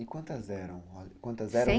E quantas eram?